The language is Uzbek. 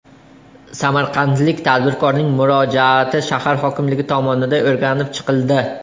Samarqandlik tadbirkorning murojaati shahar hokimligi tomonidan o‘rganib chiqildi.